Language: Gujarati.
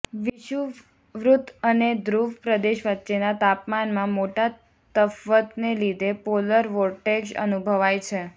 વિષુવવૃત્ત અને ધ્રૂવ પ્રદેશ વચ્ચેના તાપમાનમાં મોટા તફવતને લીધે પોલર વોર્ટેક્ષ અનુભવાય છે